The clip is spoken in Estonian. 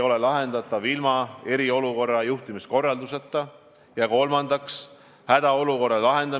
Öeldakse, et kui inimene puutub kokku koroonaviiruse kandjaga ja teeb järgmine päev testi, siis see võib olla negatiivne.